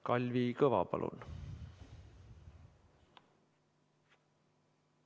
Kalvi Kõva, palun!